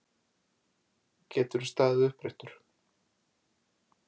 Geturðu staðið uppréttur?